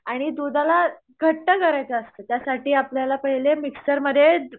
आणि दुधाला घट्ट करायचं असतं त्यासाठी आपल्याला पहिले मिक्सरमध्ये